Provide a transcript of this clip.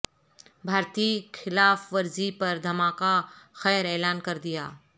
بھا رتی خلا ف ورزی پر دھما کہ خیر اعلان کر دیا